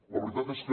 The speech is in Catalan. la veritat és que